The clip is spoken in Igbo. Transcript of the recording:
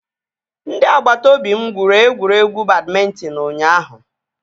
Ndị agbata obi m gwuru egwuregwu badmịntịn ụnyaahụ